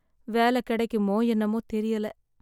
வேல கிடைக்குமா என்னமோ தெரியல